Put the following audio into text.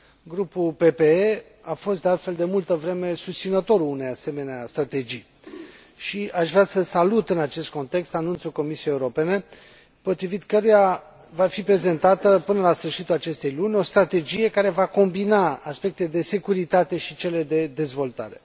Grupul PPE a fost, de altfel, de multă vreme susținătorul unei asemenea strategii și aș vrea să salut, în acest context, anunțul Comisiei Europene potrivit căruia va fi prezentată, până la sfârșitul acestei luni, o strategie care va combina aspectele de securitate și cele de dezvoltare.